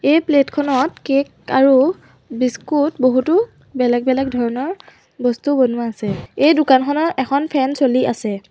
এই প্লেট খনত কেক আৰু বিস্কুট বহুতো বেলেগ বেলেগ ধৰণৰ বস্তু বনোৱা আছে এই দোকানখনৰ এখন ফেন চলি আছে।